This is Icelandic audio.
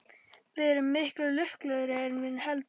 Við erum miklu lukkulegri en við höldum.